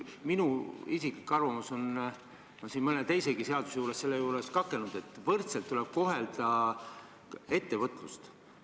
Minu isiklik arvamus on – me oleme siin mõne teisegi seaduse arutelul selle pärast kakelnud –, et ettevõtlust tuleb kohelda võrdselt.